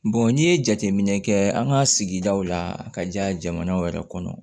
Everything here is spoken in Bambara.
n'i ye jateminɛ kɛ an ka sigidaw la ka diya jamanaw yɛrɛ kɔnɔ